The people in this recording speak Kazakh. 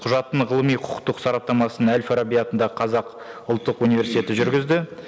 құжаттың ғылыми құқықтық сараптамасын әл фараби атындағы қазақ ұлттық университеті жүргізді